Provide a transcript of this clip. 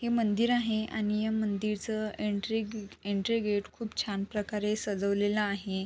हे मंदिर आहे आणि या मंदिरचं एन्ट्री अ एन्ट्री गेट खूप छान प्रकारे सजवलेलं आहे.